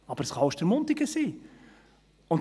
Aber es kann Ostermundigen sein.